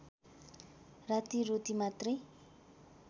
राती रोटी मात्रै